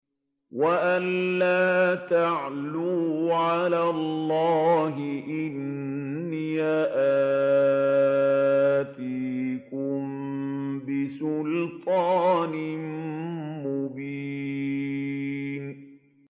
وَأَن لَّا تَعْلُوا عَلَى اللَّهِ ۖ إِنِّي آتِيكُم بِسُلْطَانٍ مُّبِينٍ